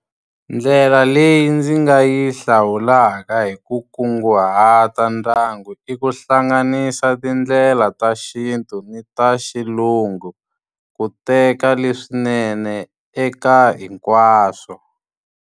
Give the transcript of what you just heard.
Ndlela leyi ndzi nga yi hlawulaka hi ku kunguhata ndyangu i ku hlanganisa tindlela ta xintu ni ta xilungu, ku teka leswinene eka hinkwaswo.